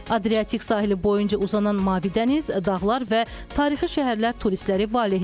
Adriatik sahili boyunca uzanan mavi dəniz, dağlar və tarixi şəhərlər turistləri valehedir.